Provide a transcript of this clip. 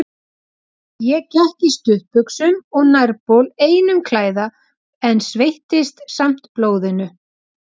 Hvaða fjölmiðli ritstýra Kjartan Hreinn Njálsson og Ólöf Skaftadóttir?